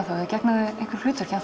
gegna þau einhverju hlutverki